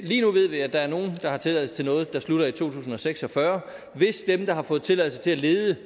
lige nu ved vi at der er nogle der har tilladelse til noget der slutter i to tusind og seks og fyrre hvis de der har fået tilladelse til at lede